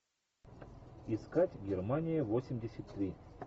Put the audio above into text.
искать германия восемьдесят три